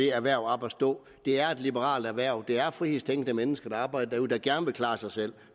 erhvervet op at stå det er et liberalt erhverv det er frihedstænkende mennesker der arbejder derude der gerne vil klare sig selv